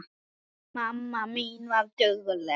Mamma mín var dugleg.